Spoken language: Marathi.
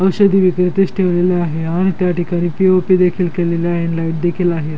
औषधी विक्रीतीस ठेवलेली आहे आणि त्या ठिकाणी पी.ओ.पी. देखील केलेली आहे आणि लाईट देखील आहे.